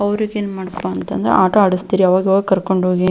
ಅವರಿಗೇನು ಮಾಡ್ಬೇಕಪ್ಪ ಅಂತ ಅಂದ್ರೆ ಆಟ ಆಡಿಸ್ತಿರಿ ಅವಾಗವಾಗ ಕರ್ಕೊಂಡು ಹೋಗಿ--